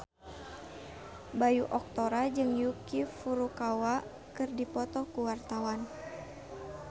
Bayu Octara jeung Yuki Furukawa keur dipoto ku wartawan